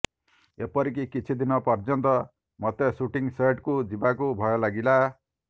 ଏପରିକି କିଛି ଦିନ ପର୍ଯ୍ୟନ୍ତ ମୋତେ ସୁଟିଂ ସେଟ୍କୁ ଯିବାକୁ ଭୟ ଲାଗିଲା